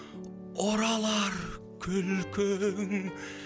оралар күлкің